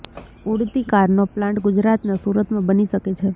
ઉડતી કારનો પ્લાંટ ગુજરાતના સુરતમાં બની શકે છે